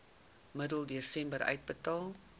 middel desember uitbetaal